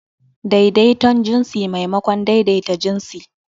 Daidaiton jinsi maimakon daidaita jinsi.